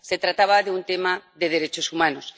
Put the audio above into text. Se trataba de un tema de derechos humanos.